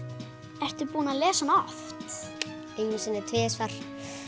ertu búinn að lesa hana oft einu sinni eða tvisvar